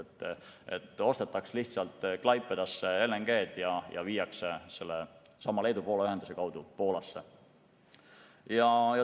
Nii et ostetaks lihtsalt Klaipedasse LNG-d ja toimetatakse sellesama Leedu-Poola ühenduse kaudu Poolasse.